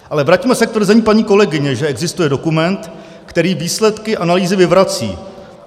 Ale vraťme se k tvrzení paní kolegyně, že existuje dokument, který výsledky analýzy vyvrací.